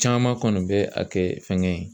Caman kɔni bɛ a kɛ fɛngɛ ye